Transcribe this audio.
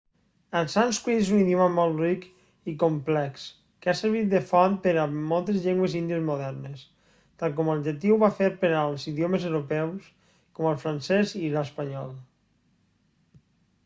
el sànscrit és un idioma molt ric i complex que ha servit de font per a moltes llengües índies modernes tal com el llatí ho va fer per als idiomes europeus com el francès i l'espanyol